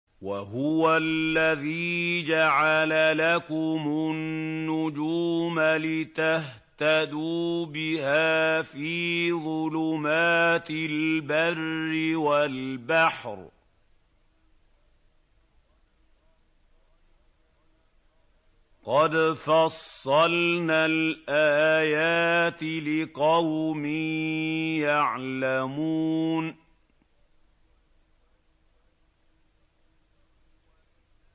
وَهُوَ الَّذِي جَعَلَ لَكُمُ النُّجُومَ لِتَهْتَدُوا بِهَا فِي ظُلُمَاتِ الْبَرِّ وَالْبَحْرِ ۗ قَدْ فَصَّلْنَا الْآيَاتِ لِقَوْمٍ يَعْلَمُونَ